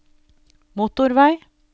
motorvei